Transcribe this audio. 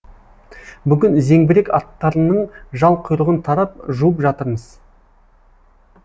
бүгін зеңбірек аттарының жал құйрығын тарап жуып жатырмыз